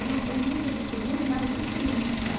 nossa, muito muito mais de trinta